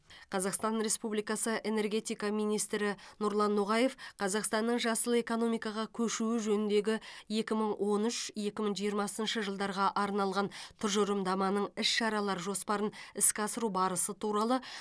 қазақстан республикасы энергетика министрі нұрлан ноғаев қазақстанның жасыл экономикаға көшуі жөніндегі екі мың он үш екі мың жиырмасыншы жылдарға арналған тұжырымдаманың іс шаралар жоспарын іске асыру барысы туралы